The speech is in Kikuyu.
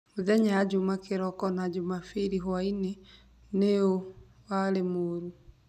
Mĩthenya ya Juma kiroko na Jumapili bwaĩnĩ nĩũ warĩ mũũru